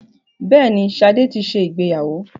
Bẹ́ẹ̀ni, Ṣadé ti ṣe ìgbéyàwó.